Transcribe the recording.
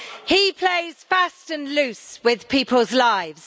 He plays fast and loose with people's lives.